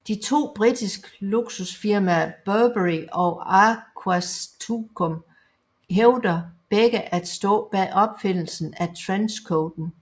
De to britisk luksusfirmaer Burberry og Aquascutum hævder begge at stå bag opfindelsen af trenchcoaten